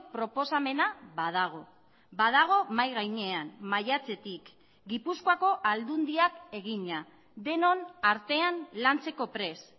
proposamena badago badago mahai gainean maiatzetik gipuzkoako aldundiak egina denon artean lantzeko prest